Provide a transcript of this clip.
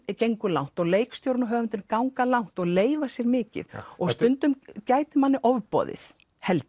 gengur langt og leikstjóri og höfundur ganga langt og leyfa sér mikið og stundum gæti manni ofboðið held